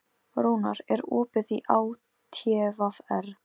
Rúnar, er opið í ÁTVR?